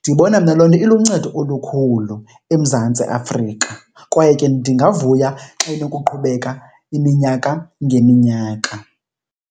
Ndibona mna loo nto iluncedo olukhulu eMzantsi Afrika kwaye ke ndingavuya xa inokuqhubeka iminyaka ngeminyaka.